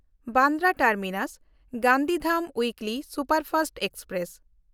Bandra ᱴᱟᱨᱢᱤᱱᱟᱥ–ᱜᱟᱱᱫᱷᱤᱫᱷᱟᱢ weekly superfast express